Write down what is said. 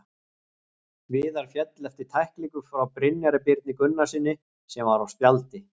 Viðar féll eftir tæklingu frá Brynjari Birni Gunnarssyni sem var á spjaldi.